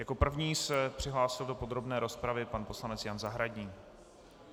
Jako první se přihlásil do podrobné rozpravy pan poslanec Jan Zahradník.